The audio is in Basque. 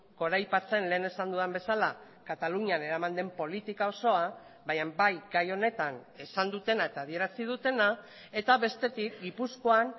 goraipatzen lehen esan dudan bezala katalunian eraman den politika osoa baina bai gai honetan esan dutena eta adierazi dutena eta bestetik gipuzkoan